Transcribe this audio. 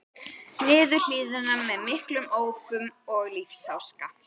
niður hlíðina með miklum ópum og lífsháska.